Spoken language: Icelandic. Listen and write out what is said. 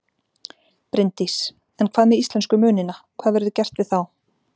Bryndís: En hvað með íslensku munina, hvað verður gert við þá?